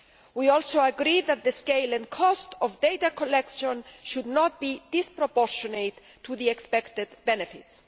We also agree that the scale and cost of data collection should not be disproportionate to the expected benefits.